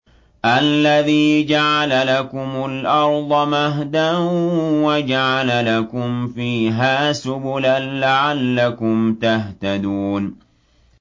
الَّذِي جَعَلَ لَكُمُ الْأَرْضَ مَهْدًا وَجَعَلَ لَكُمْ فِيهَا سُبُلًا لَّعَلَّكُمْ تَهْتَدُونَ